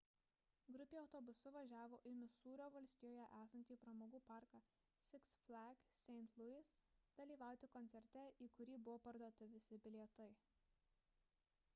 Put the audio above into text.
grupė autobusu važiavo į misūrio valstijoje esantį pramogų parką six flags st. louis dalyvauti koncerte į kurį buvo parduoti visi bilietai